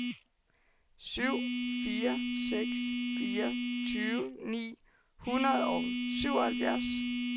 syv fire seks fire tyve ni hundrede og syvoghalvfjerds